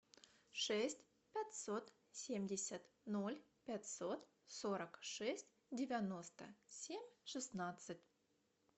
шесть пятьсот семьдесят ноль пятьсот сорок шесть девяносто семь шестнадцать